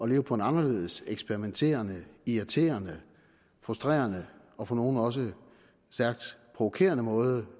leve på en anderledes eksperimenterende irriterende frustrerende og for nogle også stærkt provokerende måde